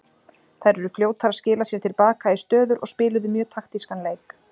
Þær eru fljótar að skila sér til baka í stöður og spiluðu mjög taktískan leik.